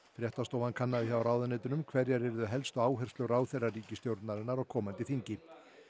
fréttastofan kannaði hjá ráðuneytunum hverjar yrðu helstu áherslur ráðherra ríkisstjórnarinnar á komandi þingi